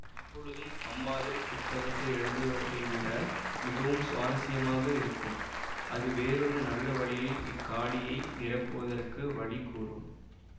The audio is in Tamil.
எப்பொழுதும் அம்மாதிரிப் புஸ்தகங்கள் எழுதுவதைவிட மிகவும் சுவாரஸ்யமாக இருக்கும் அது வேறொரு நல்ல வழியில் இக்காலியை நிரப்புவதற்கு வழி கூறும்